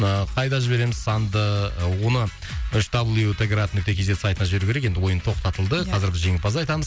ыыы қайда жібереміз санды оны үш дабл ю т град нүкте кз сайтына жіберу керек енді ойын тоқтатылды иә қазір біз жеңімпазды айтамыз